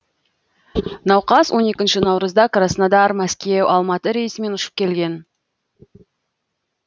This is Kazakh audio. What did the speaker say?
науқас он екінші наурызда краснодар мәскеу алматы рейсімен ұшып келген